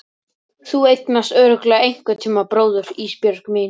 Þú eignast örugglega einhverntíma bróður Ísbjörg mín.